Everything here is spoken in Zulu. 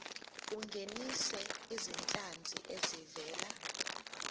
ungenise izinhlanzi ezivela